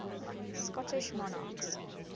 scottish monarchs